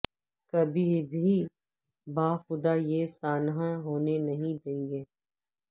کبھی بھی باخدا یہ سانحہ ہونے نہیں دیں گے